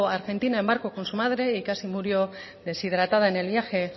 a argentina en barco con su madre y casi murió deshidratada en el viaje